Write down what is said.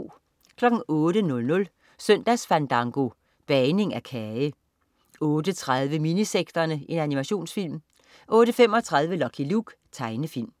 08.00 Søndagsfandango. Bagning af kage 08.30 Minisekterne. Animationsfilm 08.35 Lucky Luke. Tegnefilm